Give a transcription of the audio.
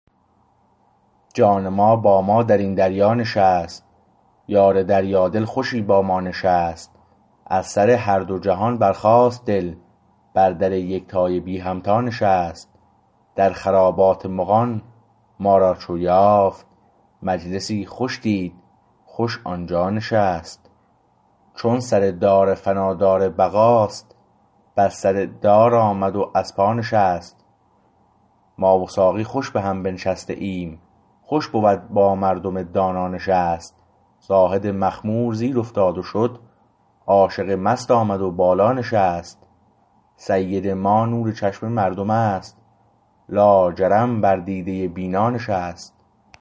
جان ما با ما در این دریا نشست یار دریا دل خوشی با ما نشست از سر هر دو جهان برخاست دل بر در یکتای بی همتا نشست در خرابات مغان ما را چو یافت مجلسی خوش دید خوش آنجا نشست چون سر دار فنا دار بقا است بر سر دار آمد و از پا نشست ما و ساقی خوش به هم بنشسته ایم خوش بود با مردم دانا نشست زاهد مخمور زیر افتاد و شد عاشق مست آمد و بالا نشست سید ما نور چشم مردم است لاجرم بر دیده بینا نشست